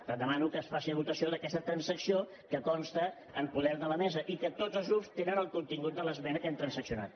per tant demano que es passi a votació d’aquesta transacció que consta en poder de la mesa i que tots els grups tenen el contingut de l’esmena que hem transaccionat